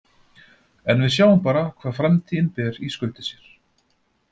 En við sjáum bara hvað framtíðin ber í skauti sér.